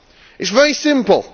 It is very simple.